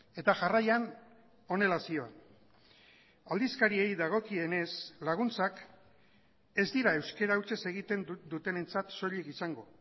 eta jarraian honela zion aldizkariei dagokienez laguntzak ez dira euskara hutsez egiten dutenentzat soilik izango